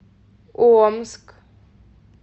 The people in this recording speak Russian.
омск